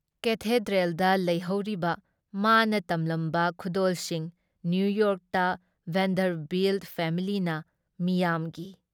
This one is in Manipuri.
ꯀꯦꯊꯦꯗ꯭ꯔꯦꯜꯗ ꯂꯩꯍꯧꯔꯤꯕ ꯃꯅꯥ ꯇꯝꯂꯝꯕ ꯈꯨꯗꯣꯜꯁꯤꯡ, ꯅꯤꯌꯨꯌꯣꯔꯛꯇ ꯚꯦꯟꯗꯔꯚꯤꯜꯠ ꯐꯦꯃꯤꯂꯤꯅ ꯃꯤꯌꯥꯝꯒꯤ